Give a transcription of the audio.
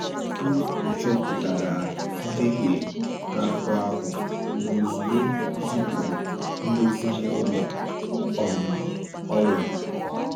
O chopụtara njehie n’akwụkwọ ahụ ma ozugbo zipụrụ ndozi na ụlọ um ọrụ.